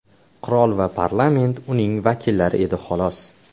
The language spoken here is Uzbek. Qirol va parlament uning vakillari edi xolos.